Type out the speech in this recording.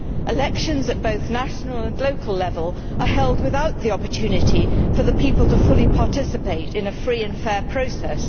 Elections at both national and local level are held without the opportunity for the people to fully participate in a free and fair process.